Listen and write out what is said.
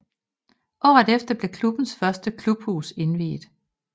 Året efter blev klubbens første klubhus indviet